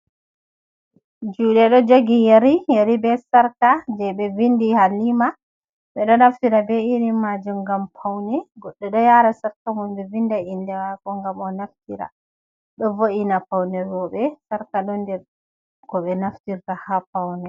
Juuɗe ɗo jogi yeri, yeri be sarka jei ɓe windi Halima. Ɓe ɗo naftira be iri majum ngam paune. Goɗɗo ɗo yaara sarka mum ɓe winda innde maako ngam o naftira. Ɗo wo’ina paune rewɓe. Sarka ɗon nder ko ɓe naftirta ha paune.